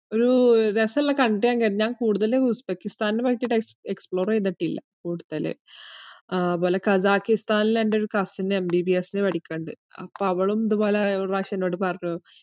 ഒരു രസവുള്ള country യാന്ന് കേട്ടിന്, ഞാൻ കൂടുതലും ഉസ്ബെക്കിസ്ഥാനെപ്പറ്റിട്ട് ex~ explore ചെയ്തിട്ടില്ല കൂടുതല്. അത്പോലെ ഖസാക്കിസ്ഥാനില് എൻറെയൊരു cousinMBBS ന് പഠിക്കണുണ്ട്. അപ്പ അവളും ഇതുപോലെ ഒരു പ്രാവശ്യം എന്നോട് പറഞ്ഞു,